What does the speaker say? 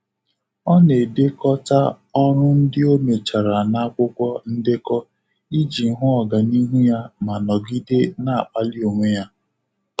Ọ na-edekọta ọrụ ndị ọ mechara n'akwụkwọ ndekọ iji hụ ọganihu ya ma nọgide na-akpali onwe ya.